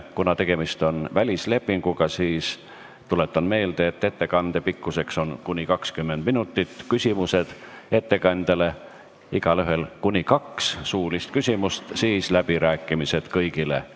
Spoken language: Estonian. Kuna tegemist on välislepinguga, siis tuletan meelde, et ettekande pikkus on kuni 20 minutit, siis on küsimused ettekandjale, igaühel kuni kaks suulist küsimust, ja seejärel on läbirääkimised kõigile.